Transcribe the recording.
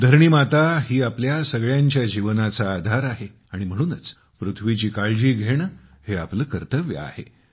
धरणी माता ही आपल्या सगळ्यांच्या जीवनाचा आधार आहे आणि म्हणूनच पृथ्वीची काळजी घेणे हे आपले कर्तव्य आहे